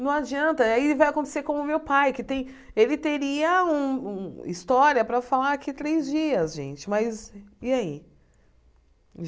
Não adianta, aí vai acontecer como o meu pai, que tem ele teria uma história para falar aqui três dias, gente, mas e aí?